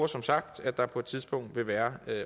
som sagt at der på et tidspunkt vil være